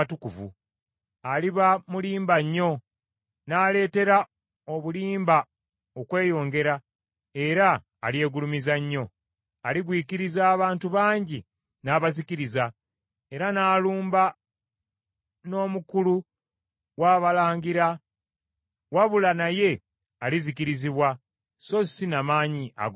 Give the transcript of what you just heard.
Aliba mulimba nnyo, n’aleetera obulimba okweyongera, era alyegulumiza nnyo. Aligwikiriza abantu bangi n’abazikiriza, era n’alumba n’Omukulu w’abalangira. Wabula naye alizikirizibwa so si n’amaanyi ag’obuntu.